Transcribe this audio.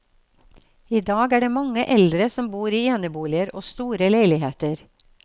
I dag er det mange eldre som bor i eneboliger og store leiligheter.